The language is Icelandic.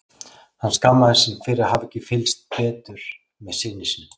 Hann skammaðist sín fyrir að hafa ekki fylgst betur með syni sínum.